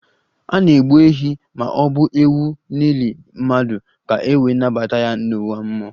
A na-egbu ehi ma ọ bụ ewu n'ili mmadụ ka e wee nabata ya n'ụwa mmụọ